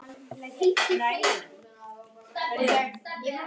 Þú hefur verið að hugsa um það líka, sagði hún.